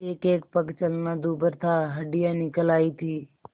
एकएक पग चलना दूभर था हड्डियाँ निकल आयी थीं